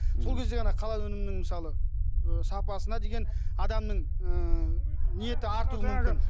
сол кезде ғана халал өнімінің мысалы ы сапасына деген адамның ы ниеті артуы мүмкін